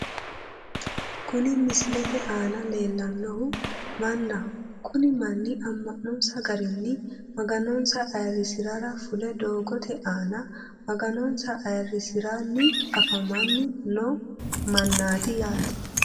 Kuni misilete aana leellannohu mannaho kuni manni amma'nonsa garinni maganonsa ayirrisirara fule doodoote aana maganonsa ayirrisiranni afamanni noo mannaati yaate